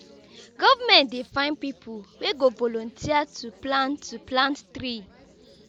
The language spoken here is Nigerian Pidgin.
government dey find pipu wey go volunteer to plant to plant tree.